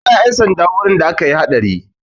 An kira 'yan sanda wurin da akayi haɗari.